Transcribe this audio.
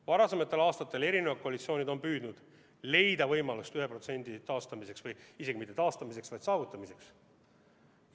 Varasematel aastatel on mitmed koalitsioonid püüdnud leida võimalust 1% taastamiseks või isegi mitte taastamiseks, vaid selle saavutamiseks.